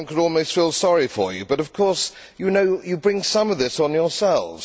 One could almost feel sorry for you but of course, you know, you bring some of this on yourselves.